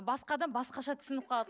басқа адам басқаша түсініп қалады